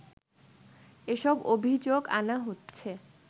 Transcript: এসব অভিযোগ আনা হচ্ছে